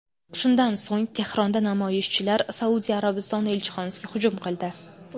Shundan so‘ng Tehronda namoyishchilar Saudiya Arabistoni elchixonasiga hujum qildi .